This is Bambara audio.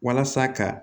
Walasa ka